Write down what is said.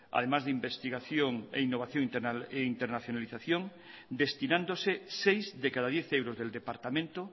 además de investigación innovación e internacionalización destinándose seis de cada diez euros del departamento